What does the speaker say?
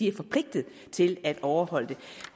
er forpligtet til at overholde det